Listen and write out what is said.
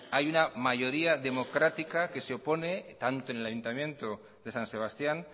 hay una mayoría democrática que se opone tanto en el ayuntamiento de san sebastián